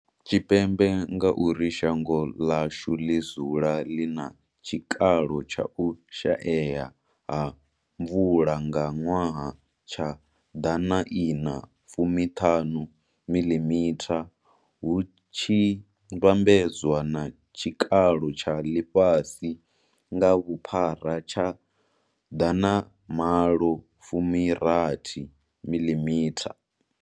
Tshipembe ngauri shango ḽashu ḽi dzula ḽi na tshikalo tsha u shaea ha mvula nga ṅwaha tsha Dana Ina fumi thanu mililitha, hu tshi vhambedzwa na tshikalo tsha ḽifhasi nga vhuphara tsha Dana malo fumi rathu mililitha.